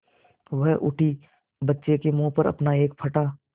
वह उठी बच्चे के मुँह पर अपना एक फटा